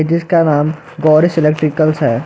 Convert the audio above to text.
जिसका नाम गौरीस इलेक्ट्रिकल्स है।